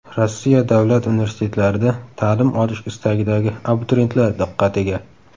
Rossiya davlat universitetlarida ta’lim olish istagidagi abituriyentlar diqqatiga.